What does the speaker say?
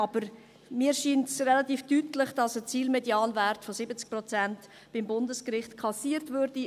Aber mir scheint es relativ deutlich, dass ein Zielmedianwert von 70 Prozent beim Bundesgericht kassiert würde.